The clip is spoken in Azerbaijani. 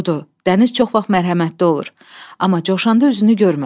Doğrudur, dəniz çox vaxt mərhəmətli olur, amma coşanda üzünü görmə.